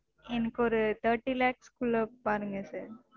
எனக்கு ஒரு thirty lakhs க்குள்ள பாருங்க sir.